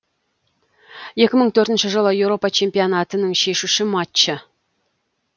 екі мың төртінші жылғы еуропа чемпионатының шешуші матчы